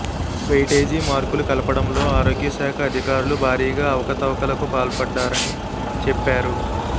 weightage మార్కులు కలపడంలో ఆరోగ్యశాఖ అధికారులు భారీగా అవతవకలకు పాల్పడ్డారని చెప్పారు